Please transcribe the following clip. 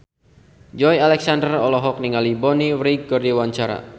Joey Alexander olohok ningali Bonnie Wright keur diwawancara